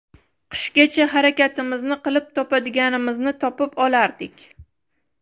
Qishgacha harakatimizni qilib topadiganimizni topib olardik.